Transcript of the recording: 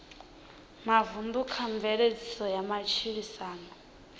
mavunḓu kha mveledziso ya matshilisano